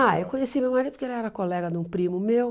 Ah, eu conheci meu marido porque ele era colega de um primo meu.